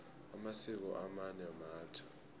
amasiko amanye matjha